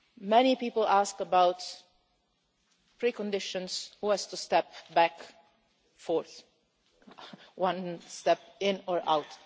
future. Many people ask about preconditions who has to step back or forwards, one step in